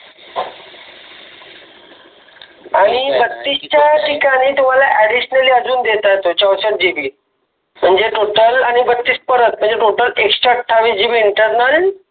आणि बत्तीस च्या ठिकाणी तुम्हाला ऍडिशनल अजून देत आहे तो चौसठ जी बी टोटल म्हणजे बत्तीस परत म्हणजे एकशे आठविस जी बी इंटर्नल